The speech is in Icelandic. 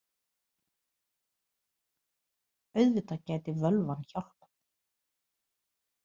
Auðvitað gæti völvan hjálpað.